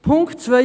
Punkt 2